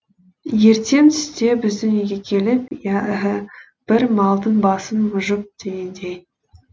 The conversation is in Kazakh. ертең түсте біздің үйге келіп иә іһі бір малдың басын мұжып дегендей